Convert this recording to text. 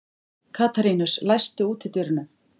Katarínus, læstu útidyrunum.